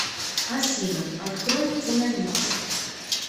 афина открой киномикс